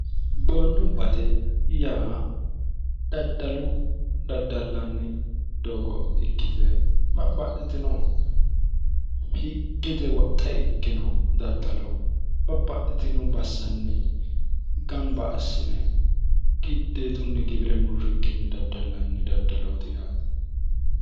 boondumbate yaa daddalu daddallanni doogo ikkite babbaxxitino higgete woxxe ikkino daddalo babbaxxitino bassanni gamba assine giddeetunni gibire murrikkinni daddallanni daddalooti yaate